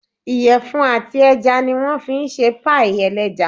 Ìyẹ̀fun àti ẹja ní wọ́n fí n ṣe páìì ẹlẹ́ja